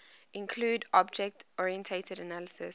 include object oriented analysis